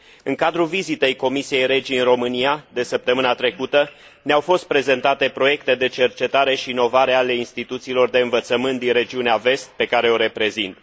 În cadrul vizitei Comisiei REGI în România de săptămâna trecută, ne au fost prezentate proiecte de cercetare și inovare ale instituțiilor de învățământ din Regiunea Vest, pe care o reprezint.